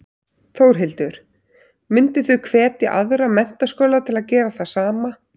Þórhildur: Mynduð þið hvetja aðra menntaskóla til að gera það sama?